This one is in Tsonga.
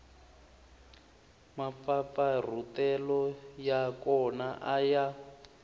mampfampfarhutelo ya kona a ya